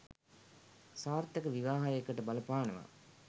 සාර්ථක විවාහයකට බලපානවා.